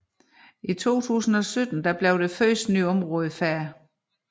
I 2017 blev det første nye område færdig